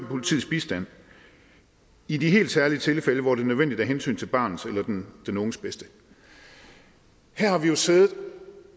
politiets bistand i helt særlige tilfælde hvor det er nødvendigt af hensyn til barnets eller den unges bedste her har vi jo siddet